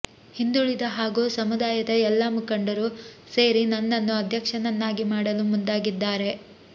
ಹಿಂದುಳಿದ ಹಾಗೂ ಸಮುದಾಯದ ಎಲ್ಲ ಮುಖಂಡರು ಸೇರಿ ನನ್ನನ್ನು ಅಧ್ಯಕ್ಷನನ್ನಾಗಿ ಮಾಡಲು ಮುಂದಾಗಿದ್ದಾರೆ